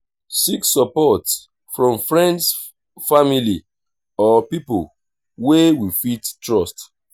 seek support from friends family or pipo wey we fit trust